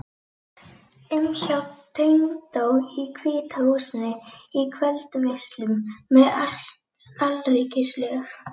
um hjá tengdó í Hvíta húsinu, í kvöldveislum með alríkislög